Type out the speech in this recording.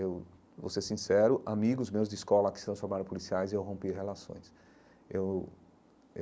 Eu vou ser sincero, amigos meus de escola que se transformaram em policiais, eu rompi relações eu.